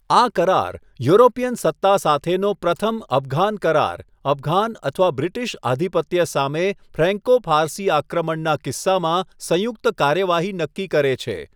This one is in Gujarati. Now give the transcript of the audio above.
આ કરાર, યુરોપિયન સત્તા સાથેનો પ્રથમ અફઘાન કરાર, અફઘાન અથવા બ્રિટિશ આધિપત્ય સામે ફ્રેન્કો ફારસી આક્રમણના કિસ્સામાં સંયુક્ત કાર્યવાહી નક્કી કરે છે.